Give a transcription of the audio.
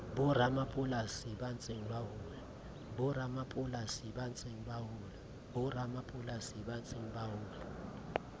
boramapolasi ba ntseng ba hola